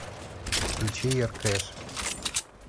включи юркеш